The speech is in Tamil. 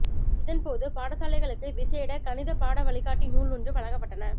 இதன் போது பாடசலைகளுக்கு விசேட கணித பாட வழிகாட்டி நூல் ஒன்றும் வழங்கப்பட்டன